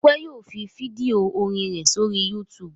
Ọpẹ́ yóò fi fídíò orin rẹ̀ sórí YouTube.